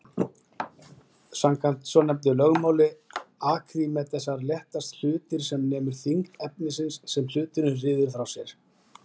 Samkvæmt svonefndu lögmáli Arkímedesar léttast hlutir sem nemur þyngd efnisins sem hluturinn ryður frá sér.